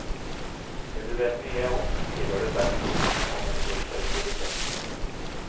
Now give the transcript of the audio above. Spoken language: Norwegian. Det du vet mye om, skriver du best om, og med størst autoritet.